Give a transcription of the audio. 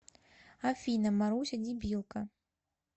афина маруся дебилка